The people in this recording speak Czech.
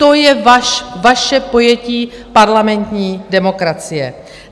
To je vaše pojetí parlamentní demokracie.